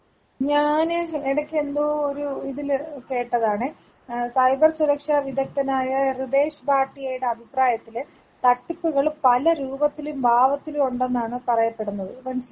ഞാന് എടെക്കെന്തോ ഒരു ഇതില് കേട്ടതാണെ സൈബർ സുരക്ഷാ വിദഗ്ദ്ധനായ റിദേഷ് ഭാട്ടിയടെ അഭിപ്രായത്തില് തട്ടിപ്പുകൾ പല രൂപത്തിലും ഭാവത്തിലും ഉണ്ടെന്നാണ് പറയപ്പെടുന്നത് മനസ്സിലായോ.